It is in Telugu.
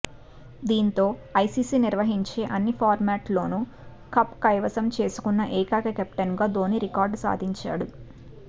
దీంతో ఐసీసీ నిర్వహించే అన్ని ఫార్మాట్లలోనూ కప్ కైవసం చేసుకున్న ఏకైక కెప్టెన్ గా ధోనీ రికార్డు సాధించాడు